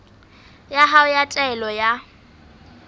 ya hao ya taelo ya